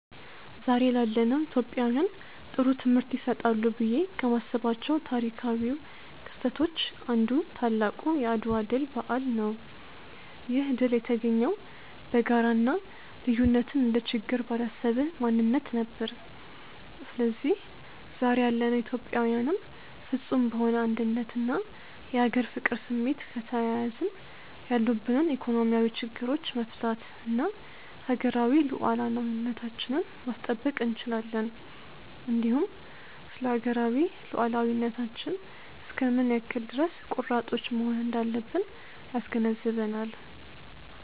ዛሬ ላለነው ኢትዮጵያውያን ጥሩ ትምህርት ይሰጣሉ ብዬ ከማስባቸው ታሪካው ክስተቶች አንዱ ታላቁ የአድዋ ድል በዓል ነው። ይህ ድል የተገኘው በጋራ እና ልዩነትን እንደ ችግር ባላሰበ ማንነት ነበር። ስለዚህ ዛሬ ያለነው ኢትዮጵያዊያንም ፍፁም በሆነ አንድነት እና የሀገር ፍቅር ስሜት ከተያያዝን ያሉብንን ኢኮኖሚያዊ ችግሮቻች መፍታት እና ሀገራዊ ሉዓላዊነታችንን ማስጠበቅ እንችላለን። እንዲሁም ስለሀገራዊ ሉዓላዊነታችን እስከ ምን ያክል ድረስ ቆራጦች መሆን እንዳለብን ያስገነዝበናል።